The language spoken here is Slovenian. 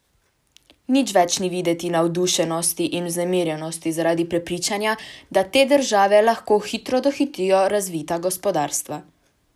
Nič več ni videti navdušenosti in vznemirjenosti zaradi prepričanja, da te države lahko hitro dohitijo razvita gospodarstva.